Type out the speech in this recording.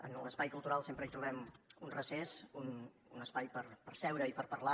en l’espai cultural sempre hi trobem un recés un espai per seure i per parlar